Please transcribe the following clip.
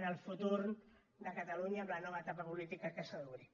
en el futur de catalunya amb la nova etapa política que s’ha d’obrir